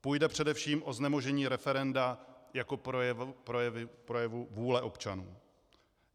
Půjde především o znemožnění referenda jako projevu vůle občanů.